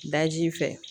Daji fɛ